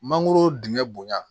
Mangoro dingɛ bonya